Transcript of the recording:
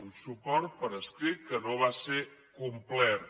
un suport per escrit que no va ser complert